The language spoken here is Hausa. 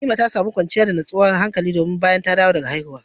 Na'ima ta samu nutsuwa da kwanciyar hankali bayan ta dawo daga haihuwa.